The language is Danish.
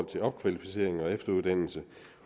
til opkvalificering og efteruddannelse